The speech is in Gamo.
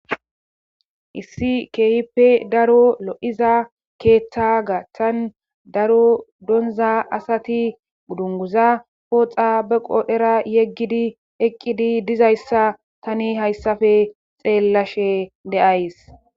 issi keehippe daro lo'iza keeththa gaaththan daro donza asati dungguza pooxa be qoodhera yeggidi eqqidi dizayssa tani hayssafe xeellashe de'as.